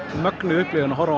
mögnuð upplifun að horfa á hann